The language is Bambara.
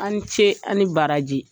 A ni ce, a ni baraji.